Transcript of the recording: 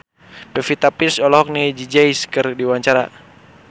Pevita Pearce olohok ningali Jay Z keur diwawancara